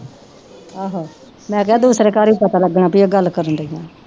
ਆਹੋ ਮੈਂ ਕਿਹਾ ਦੂਸਰੇ ਘਰ ਵੀ ਪਤਾ ਲੱਗਣਾ ਵੀ ਇਹ ਗੱਲ ਕਰਨਡੀਆਂ।